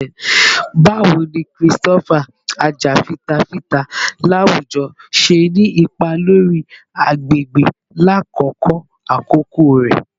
Bawo ni Christopher, ajafitafita lawujọ, ṣe ni ipa lori agbegbe lakoko akoko rẹ?